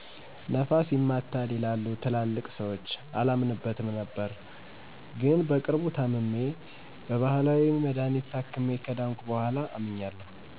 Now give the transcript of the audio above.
ነፋስ ይማታል ይላሉ ትላልቅ ስዎች አላምንበትም ነበር ነገር ግን በቅርቡ ታምሜ በባህላዊ መድሀኒት ታክሜ ከዳንኩ በኋላ አምኛለሁ።